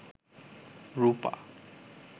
রূপা